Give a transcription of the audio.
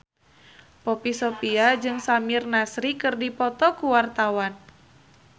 Poppy Sovia jeung Samir Nasri keur dipoto ku wartawan